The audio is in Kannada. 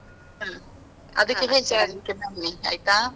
ಆಯ್ತಾ.